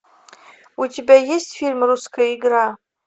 у тебя есть фильм русская игра